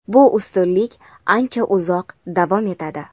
Bu ustunlik ancha uzoq davom etadi.